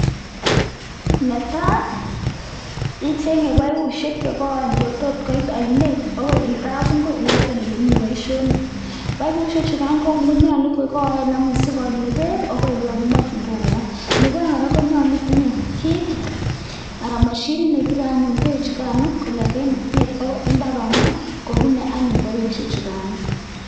Ne tai ichenge paipushek che koen che tot koit ainet akoi kapungui yoto ole mi boisionik, paipushek chukan konyolu kokoen sikoli beek akoi ole kimakinkei koba. Nebo aeng, kora konyolu itinye kiit anan mashinit nepire anyun beechukan kongete oinet akoi imbaaranok kobune anyuun paipushek chukano.